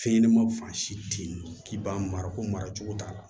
Fɛn ɲɛnɛmaw fan si te yen k'i b'a mara ko mara cogo t'a la